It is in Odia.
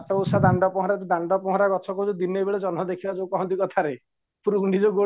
ବାଟ ଓଷା ଦାଣ୍ଡ ପହଁରା ଯୋଉ ଦାଣ୍ଡ ପହଁରା ଗଛ କହୁଚ ଦିନବେଳେ ଜହ୍ନ ଦେଖିବା କୁହନ୍ତି କଥାରେ ଉପରୁ ଊଡ଼ିଲେ ଗୋଡ